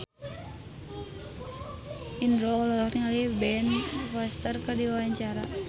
Indro olohok ningali Ben Foster keur diwawancara